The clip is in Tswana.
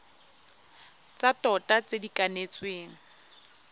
tsa tota tse di kanetsweng